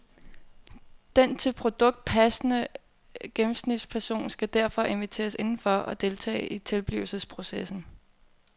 Den til produktet passende gennemsnitspserson skal derfor inviteres indenfor og deltage i tilblivelsesprocessen.